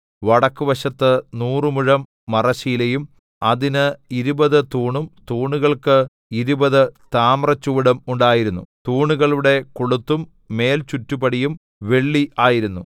വടക്കുവശത്ത് നൂറ് മുഴം മറശ്ശീലയും അതിന് ഇരുപത് തൂണും തൂണുകൾക്ക് ഇരുപത് താമ്രച്ചുവടും ഉണ്ടായിരുന്നു തൂണുകളുടെ കൊളുത്തും മേൽചുറ്റുപടിയും വെള്ളി ആയിരുന്നു